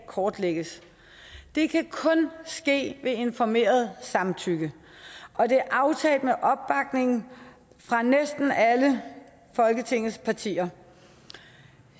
kortlægges det kan kun ske ved informeret samtykke og det er aftalt med opbakning fra næsten alle folketingets partier